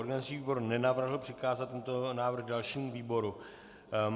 Organizační výbor nenavrhl přikázat tento návrh dalšímu výboru.